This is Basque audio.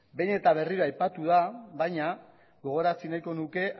behin eta berriro aipatu da baina gogorazi nahiko nuke